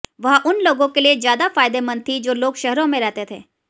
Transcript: वह उन लोगों के लिए ज्यादा फायदेमंद थी जो लोग शहरों में रहते थे